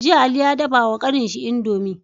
Jiya ali ya dafa wa kanin shi indomie